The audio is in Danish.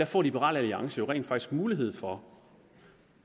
får liberal alliance rent faktisk mulighed for